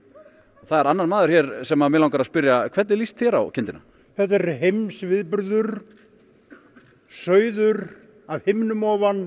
það er annar maður hér sem mig langar að spyrja hvernig líst þér á kindina þetta er heimsviðburður sauður af himnum ofan